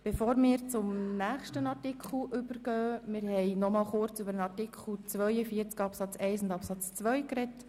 Bevor wir zum nächsten Artikel übergehen, sprechen wir noch einmal kurz über Artikel 42 Absatz 1 und 2. Grossrat